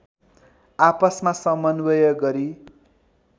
आपसमा समन्वय गरी